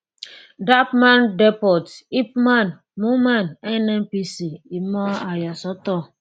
dappmandepot ipman moman nnpc ìmọ àyàsọtọ